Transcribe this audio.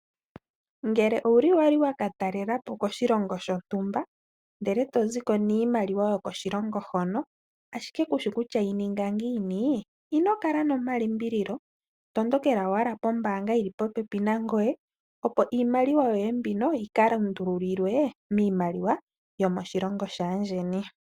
Ngele owuli wali wa ka talela po koshilongo shontumba ndele e to ziko niimaliwa yokoshilongo hono ashike kushi kutya yi ninga ngiini? Ino kala nomalimbililo, tondokela owala pombaanga yi li popepi nangoye opo iimaliwa yoye mbino yi ka lundululilwe miimaliwa yomoshilongo shaandjeni.